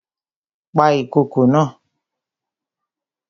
Pa ìkokò naa!